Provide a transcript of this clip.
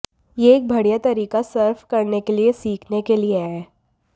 यह एक बढ़िया तरीका सर्फ करने के लिए सीखने के लिए है